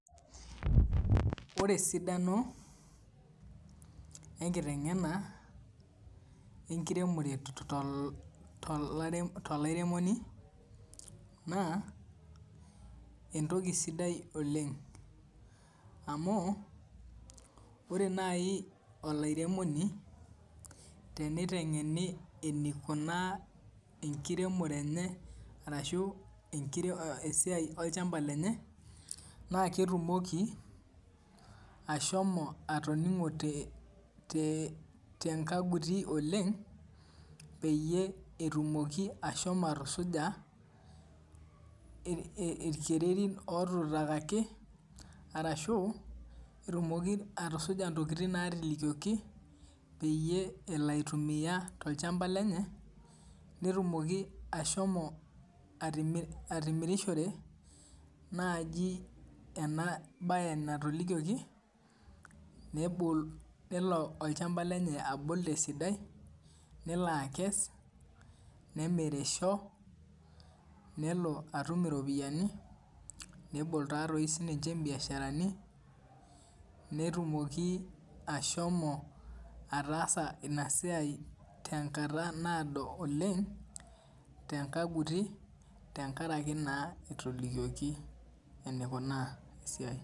ore esidano enkitengena enkiremore to lairemoni naa entoki sidai oleng amuu ore naai olairemoni teneitengeni eneikunaa enkiremore enye arashu esiaa olchamba lenye naa ketumoki ashomo atoningo tenkaguti oleng peyie etumoki ashomo atusuja irkererin otuutaki arashu etumoki ashomo atusuja intokitin naatutaakaki peyie elo aitumiyia tolchamba lenye netumoki ashomo atimirishore naaji ena baye natolikioki nelo olchamba lenye abul tesidai nelo akees ,nemirisho nelo atum iropiyiani nebol taatoi sinche imbiasharani netumoki ashomo ataasa ina siai tenkataa naado oleng tenkaguti tenkaraki naa etolikioki eneikunaa esiai.